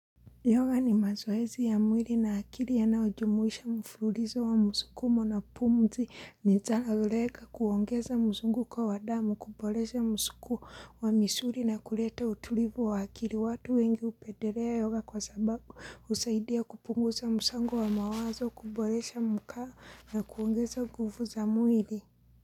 Yoga ni mazoezi ya mwili na akili ya nayojumuisha mfluulizo wa msukumo na pumzi ni zanazolega kuongeza mzunguko kwa wadamu, kuboresha msukumo wa misuri na kuleta utulivu wa akili. Watu wengi hupendelea yoga kwa sababu husaidia kupunguza msango wa mawazo, kuboresha mkaa na kuongeza nguvu za mwili.